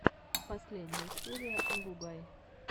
последняя серия агугай